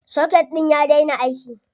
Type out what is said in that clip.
Soket ɗin ya daina aiki.